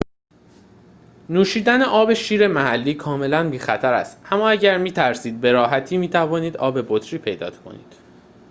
نوشیدن آب شیر محلی کاملاً بی خطر است اما اگر می ترسید به راحتی می‌توانید آب بطری پیدا کنید